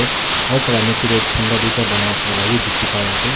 Aro tai la neche tey chanta duita banaina thaka la bi dekhi pai ase.